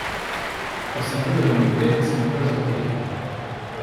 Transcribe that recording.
Ko sem videl, da mi gre, sem obdržal to tehniko.